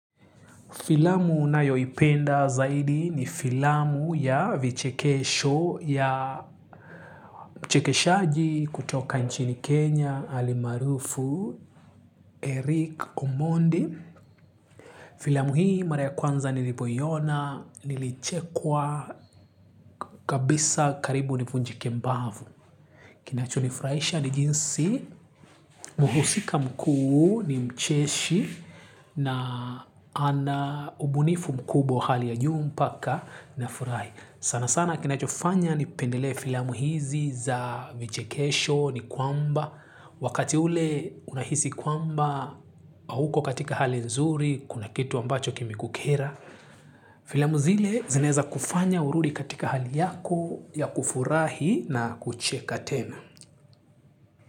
Filamu nayoipenda zaidi ni filamu ya vichekesho ya mchekeshaji kutoka nchini Kenya alimaarufu Eric Omondi. Filamu hii mara ya kwanza nilipoiona, nilichekwa kabisa karibu nivunjike mbavu. Kinacho nifurahisha ni jinsi, mhusika mkuu ni mcheshi na ana ubunifu mkubwa wa hali ya juu mpaka nafurahi. Sana sana kinachofanya nipendelee filamu hizi za vichekesho ni kwamba, wakati ule unahisi kwamba hauko katika hali nzuri, kuna kitu ambacho kimekukera. Filamu zile zinaeza kufanya urudi katika hali yako ya kufurahi na kucheka tena.